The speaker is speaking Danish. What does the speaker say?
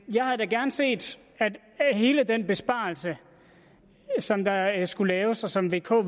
jeg havde da gerne set at hele den besparelse som der skulle laves og som vk